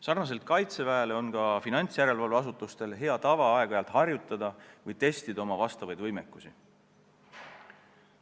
Sarnaselt kaitseväega on ka finantsjärelevalve asutustel hea tava aeg-ajalt harjutada või testida oma võimekusi.